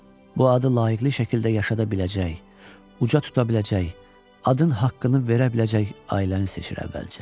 Bu adı layiqliy şəkildə yaşada biləcək, uzaq tuta biləcək, adın haqqını verə biləcək ailəni seçir əvvəlcə.